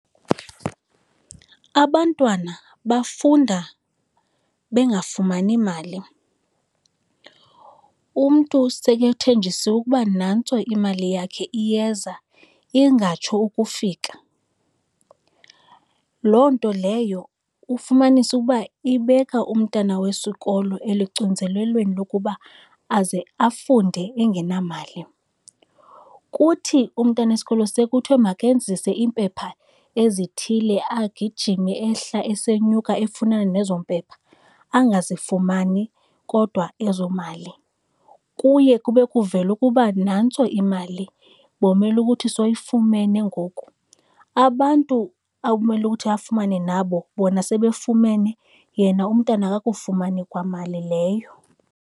Abantwana bafunda bengafumani mali, umntu sekethenjisiwe ukuba nantso imali yakhe iyeza, ingatsho ukufika. Loo nto leyo, ufumanise ukuba ibeka umntana wesikolo elucinzelelweni lokuba aze afunde engenamali. Kuthi umntana wesikolo sekuthiwa makenzise iimpepha ezithile agijime ehla esenyuka efunana nezo mpepha angazifumani kodwa ezo mali. Kuye kube kuvele ukuba nantso imali, bomele ukuthi sowuyifumene ngoku, abantu awumele ukuthi afumane nabo bona sebefumene, yena umntana akakufumani kwamali leyo.